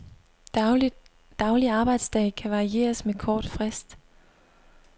Daglig arbejdsdag kan varieres med kort frist.